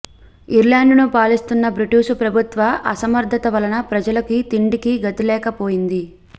ఐర్లండుని పాలిస్తున్న బ్రిటీషు ప్రభుత్వ అసమర్థత వలన ప్రజలకి తిండికి గతిలేకపోయింది